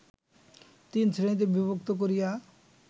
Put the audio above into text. তিনশ্রেণীতে বিভক্ত করিয়া